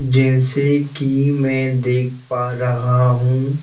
जैसे कि मैं देख पा रहा हूँ।